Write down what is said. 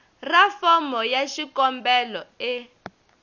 ra fomo ya xikombelo e